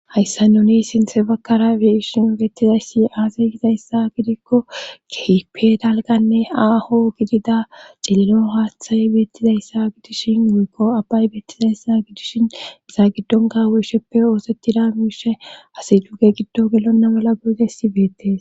hayssa nuni sinthe bakkara beishin beettizayssi aaseygizayssa gidikko kehipe dalganne aaho gidida cillino haaththay beettizayssa gidishin wuykko abbay beettizayssa gidishin iza giddon gaweysheppe oosettida miishe asi duge giddo gelonna mala goygessi beettes